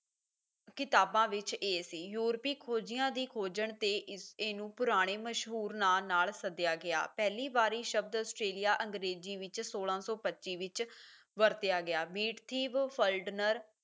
ਕਿਤਾਬਾਂ ਵਿੱਚ ਇਹ ਸੀ ਯੂਰਪੀ ਖੋਜੀਆਂ ਦੀ ਖੋਜਣ ਤੇ ਇਸ ਇਹਨੂੰ ਪੁਰਾਣੇ ਮਸ਼ਹੂਰ ਨਾਂ ਨਾਲ ਸੱਦਿਆ ਗਿਆ, ਪਹਿਲੀ ਵਾਰੀ ਸ਼ਬਦ ਆਸਟ੍ਰੇਲੀਆ ਅੰਗਰੇਜ਼ੀ ਵਿੱਚ ਸੋਲਾਂ ਸੌ ਪੱਚੀ ਵਿੱਚ ਵਰਤਿਆ ਗਿਆ matthew flinders